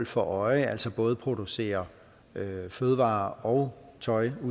for øje altså både producere fødevarer og tøj af